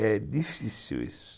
É difícil isso.